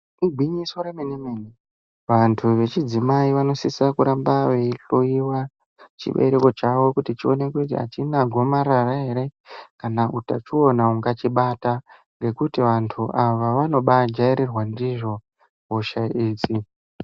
Igwinyiso remene-mene, vantu vechidzimai vanosisa kuramba veihloiwa chibereko chavo. Kuti chionekwe kuti hachina gomarara ere kana utachiona ungachibata. Ngekuti vantu ava vanobajairirwa ndizvo hosha idzi.